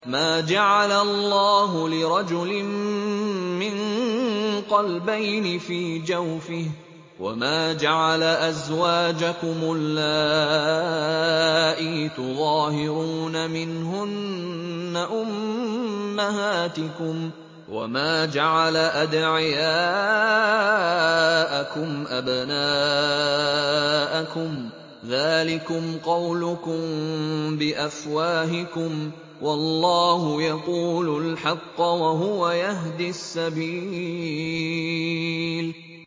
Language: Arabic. مَّا جَعَلَ اللَّهُ لِرَجُلٍ مِّن قَلْبَيْنِ فِي جَوْفِهِ ۚ وَمَا جَعَلَ أَزْوَاجَكُمُ اللَّائِي تُظَاهِرُونَ مِنْهُنَّ أُمَّهَاتِكُمْ ۚ وَمَا جَعَلَ أَدْعِيَاءَكُمْ أَبْنَاءَكُمْ ۚ ذَٰلِكُمْ قَوْلُكُم بِأَفْوَاهِكُمْ ۖ وَاللَّهُ يَقُولُ الْحَقَّ وَهُوَ يَهْدِي السَّبِيلَ